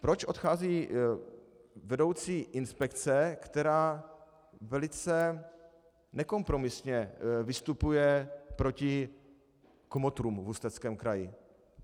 Proč odchází vedoucí inspekce, která velice nekompromisně vystupuje proti kmotrům v Ústeckém kraji?